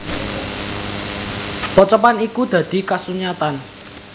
Pocapan iku dadi kasunyatan